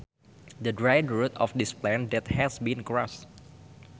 The dried root of this plant that has been crushed